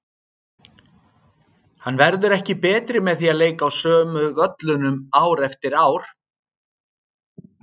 Hann verður ekki betri með því að leika á sömu völlunum ár eftir ár.